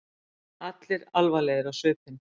Allir alvarlegir á svipinn.